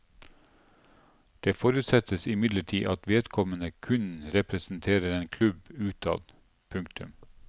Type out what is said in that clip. Det forutsettes imidlertid at vedkommende kun representerer en klubb utad. punktum